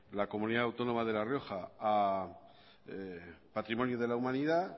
la comunidad autónoma de la rioja a patrimonio de la humanidad